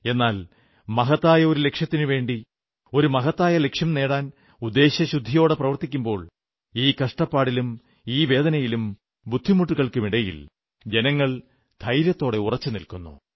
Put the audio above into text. എന്നാൽ മഹത്തായ ഒരു ലക്ഷ്യത്തിനുവേണ്ടി ഒരു മഹത്തായ ലക്ഷ്യം നേടാൻ ഉദ്ദേശ്യശുദ്ധിയോടെ പ്രവർത്തിക്കുമ്പോൾ ഈ കഷ്ടപ്പാടിലും ഈ വേദനയിലും ബുദ്ധിമുട്ടുകൾക്കുമിടയിൽ ജനങ്ങൾ ധൈര്യത്തോടെ ഉറച്ചു നിൽക്കുന്നു